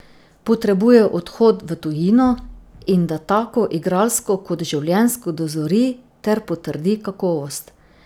Potrebuje odhod v tujino in da tako igralsko kot življenjsko dozori ter potrdi kakovost.